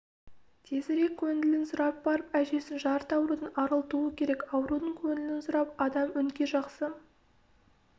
тезірек көңілін сұрап барып әжесін жарты аурудан арылтуы керек аурудың көңілін сұрап адам өңкей жақсы